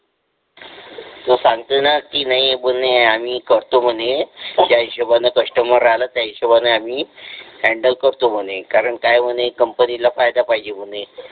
तू सांगतो ना की नाही बोलणे आम्ही करतो म्हणे ज्या हिशोबाने कस्टमर आलो त्या हिशोबाने आम्ही हॅन्डल करतो म्हणे कारण काय म्हणे कंपनी फायदा पाहिजे म्हणे.